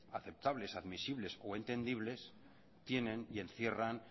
aceptables admisibles o entendibles tienen y encierran